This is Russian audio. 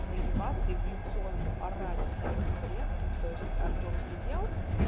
нагибаться и в лицо ему орать всякий бред тупо то есть артём сидел